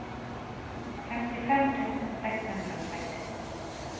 femtifem tusen seks hundre og seks